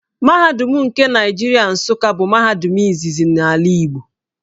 Mahadum nke Naịjirịa Nsuka bụ mahadum izizi n’ala Igbo.